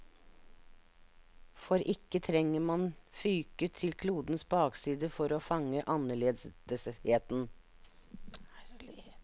For ikke trenger man fyke til klodens bakside for å fange annerledesheten.